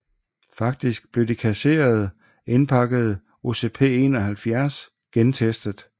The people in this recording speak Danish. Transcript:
Faktisk blev de kasserede indpakkede OCP71 gentestet